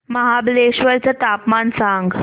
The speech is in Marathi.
महाबळेश्वर चं तापमान सांग